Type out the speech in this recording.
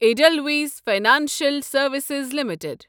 Edelweiss Financial Services limited